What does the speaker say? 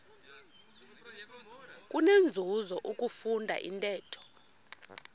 kunenzuzo ukufunda intetho